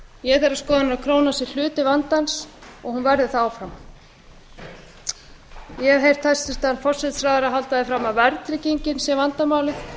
ég er þeirrar skoðunar að krónan sé hluti vandans og hún verði það áfram ég hef heyrt hæstvirtan forsætisráðherra halda því fram að verðtryggingin sé vandamálið